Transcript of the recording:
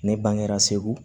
Ne bangera segu